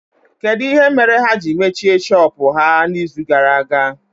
Kedụ ihe mere ha ji mechie shọpụ ha na izu gara aga?